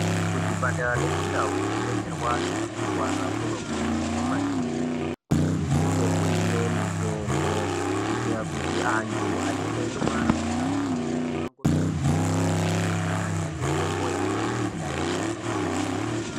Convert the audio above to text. Muzvipatara nekundau kunodetsera vanhu vanorwara kuno kurudzirwa maningi kuti kunge kuine mitombo kuitira kuti vantu vanenge vachirwara vasazohamba mumango mikurutu kuzotsvaga mitombo yona iyoyo.